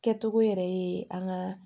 Kɛcogo yɛrɛ ye an ka